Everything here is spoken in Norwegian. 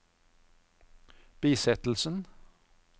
bisettelsen